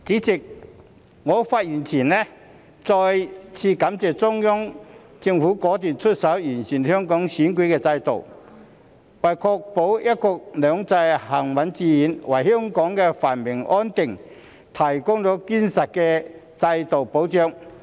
主席，我發言前想再次感謝中央政府果斷出手完善香港選舉制度，為確保"一國兩制"行穩致遠、為香港繁榮安定，提供堅實的制度保障。